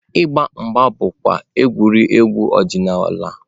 Ịgba mgba bụkwa egwuregwu ọdịnala.